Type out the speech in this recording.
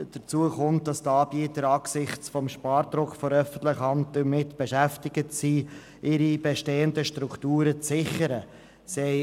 Hinzu kommt, dass die Anbieter angesichts des Spardrucks der öffentlichen Hand damit beschäftigt sind, ihre bestehenden Strukturen zu sichern.